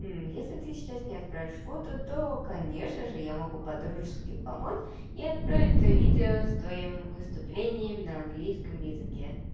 если ты сейчас не отправишь фото то конечно же я могу по-дружески помочь и отправить т о видео с твоим выступлением на английском языке